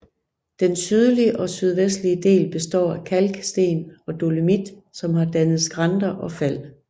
Den sydlige og sydvestlige del består af kalksten og dolomit som har dannet skrænter og fald